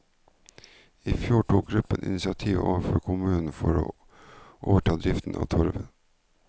I fjor tok gruppen initiativ overfor kommunen for å overta driften av torvet.